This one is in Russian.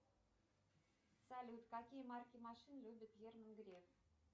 салют какие марки машин любит герман греф